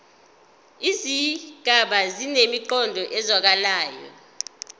izigaba zinemiqondo ezwakalayo